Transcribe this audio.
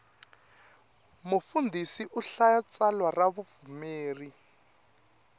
mfundhisi u hlaya tsalwa ra vapfumeri